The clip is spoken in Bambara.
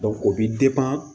o bi